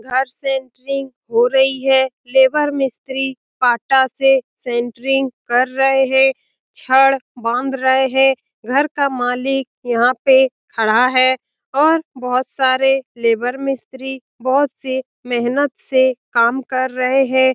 घर सेंटरिंग हो रही है लेबर मिस्त्री पाटा से सेंटरिंग कर रहे हैं छड़ बांध रहे हैं घर का मालिक यहाँ पे खड़ा है और बहुत सारे लेबर मिस्त्री बहुत सी मेहनत से काम कर रहे हैं ।